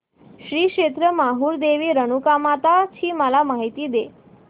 श्री क्षेत्र माहूर देवी रेणुकामाता ची मला माहिती दे